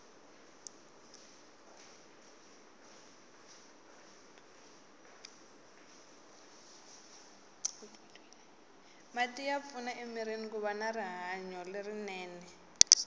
mati ya pfuna emirini kuva na rihanolerinene